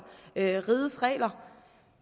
rigets regler